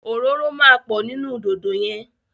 Òróró máa pọ̀ nínú dòdò yẹn.